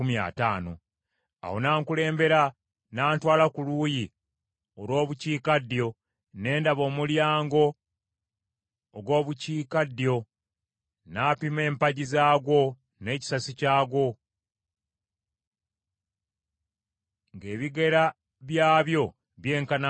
Awo n’ankulembera n’antwala ku luuyi olw’Obukiikaddyo ne ndaba omulyango ogw’Obukiikaddyo, n’apima empagi zaagwo n’ekisasi kyagwo, ng’ebigera byabyo byenkanankana n’ebirala.